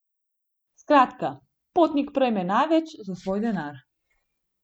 Skratka, potnik prejme največ za svoj denar.